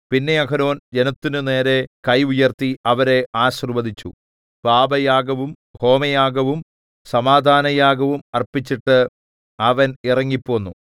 പിന്നെ അഹരോൻ ജനത്തിനു നേരെ കൈ ഉയർത്തി അവരെ ആശീർവ്വദിച്ചു പാപയാഗവും ഹോമയാഗവും സമാധാനയാഗവും അർപ്പിച്ചിട്ട് അവൻ ഇറങ്ങിപ്പോന്നു